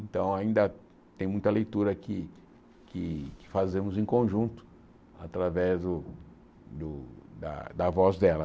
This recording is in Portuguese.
Então ainda tem muita leitura que que que fazemos em conjunto através do do da da voz dela.